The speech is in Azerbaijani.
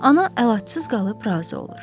Ana əlacsız qalıb razı olur.